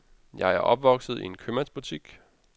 Jeg er opvokset i en købmandsbutik.